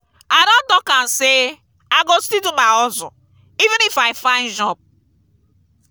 i don talk am sey i go still do my hustle even if i find job.